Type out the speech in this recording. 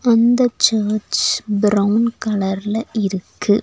அந்த church brown கலர்ல இருக்கு.